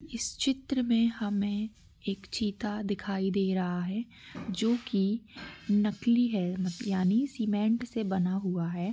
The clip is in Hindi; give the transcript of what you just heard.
इस चित्र मे हमे एक चीता दिखाई दे रहा है जो की नकली है यानि सीमेंट से बना हुआ है।